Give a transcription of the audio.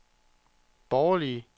borgerlige